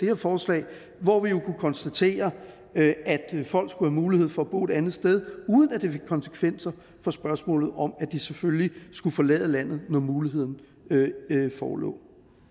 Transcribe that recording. her forslag hvor vi jo kunne konstatere at folk skulle have mulighed for at bo et andet sted uden at det fik konsekvenser for spørgsmålet om at de selvfølgelig skulle forlade landet når muligheden forelå